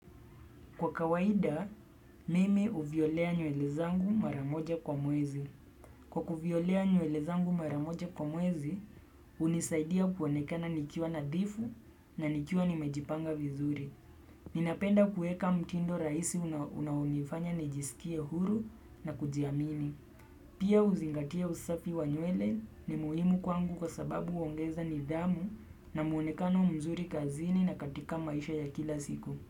Kwa kawaida, mimi huvyolea nywele zangu mara moja kwa mwezi. Kwa kuvyolea nywele zangu mara moja kwa mwezi, hunisaidia kuonekana nikiwa nadhifu na nikiwa nimejipanga vizuri. Ninapenda kueka mtindo rahisi unaonifanya nijisikie huru na kujiamini. Pia kuzingatia usafi wa nywele ni muhimu kwangu kwa sababu huongeza nidhamu na mwonekano mzuri kazini na katika maisha ya kila siku.